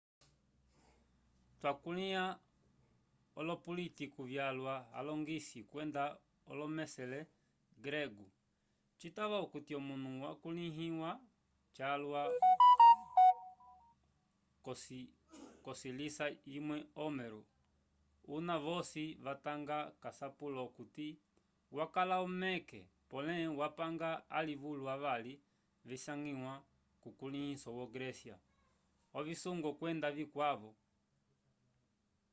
twakulĩha olopulitiku vyalwa alongisi kwenda olomesele gregoo citava okuti omunu wakulĩhiwa calwa k'ocisila cimwe homero una vosi vatanga k'asapulo okuti wakala omeke pole wapanga alivulu avali visangiwa kukulĩhiso wo grécia ovisungo kwenda vikwavo